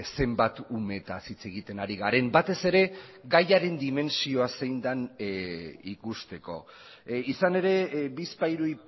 zenbat umeetaz hitz egiten ari garen batez ere gaiaren dimentsioa zein den ikusteko izan ere bizpahiru